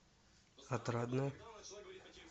отрадное